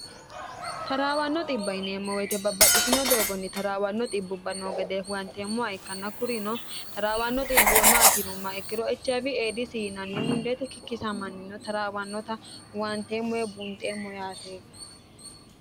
taraawanno xibba yineemmo woyite babbaxxitino doogonni taraawanno xibbubba noo gede huwanteemmoa ikkanna kurino taraawanno xibbu maatinomma ikkiro echaafi eedisi inanni mundeete kikkisamannino taraawannota huwanteemmoe bunxeemmo yaate